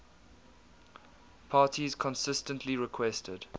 parties consistently requested